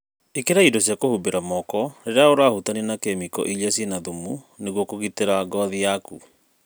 ĩkĩra indo cia kũhumbĩra moko rĩrĩa ũrahutania na kemiko iria ciĩna thumu nĩguo kũgitĩra ngothi yaku.